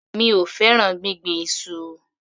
Mi ò fẹ́ràn gbíngbin iṣu.